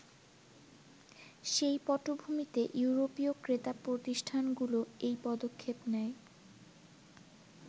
সেই পটভূমিতে ইউরোপীয় ক্রেতা প্রতিষ্ঠানগুলো এই পদক্ষেপ নেয়।